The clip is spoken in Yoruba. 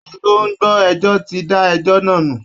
Adájọ́ tó ń gbọ́ ẹjọ́ ti da ẹjọ́ náà nù